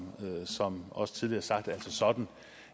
også tidligere sagt altså sådan